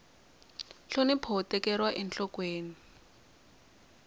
nhlonipho wu tekeriwa enhlokweni